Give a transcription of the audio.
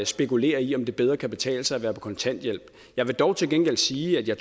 spekulerer i om det bedre kan betale sig at være på kontanthjælp jeg vil dog til gengæld sige at jeg